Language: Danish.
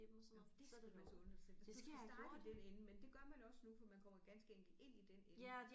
Jamen det skal du altså unde dig selv altså du skal starte i den ende men det gør man også nu for man kommer ganske enkelt ind i den ende